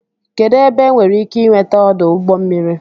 kedụ ebe enwere ike ị nweta ọdụ ụgbọ mmiri